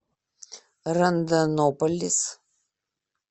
рондонополис